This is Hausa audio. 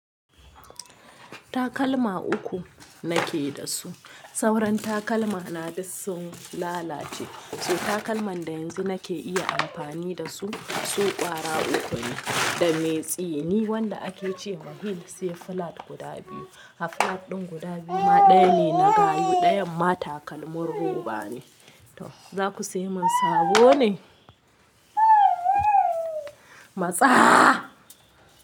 Takalma uku nake da su. Sauran takalmana duk sun lalace. So takalma da yanzu nake iya anfani dasu su kwara uku ne da mai tsini wanda akece ma heels sai flat guda biyu So takalman da yanzu nake iya amfani da su, su ƙwara uku ne, da mai tsini, wanda ake ce wa heel, sai flat guda biyu. To za ku sai mun sabo ne? Matsa!